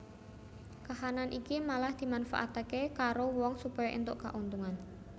Kahanan iki malah dimanfaatake karo wong supaya entuk kauntungan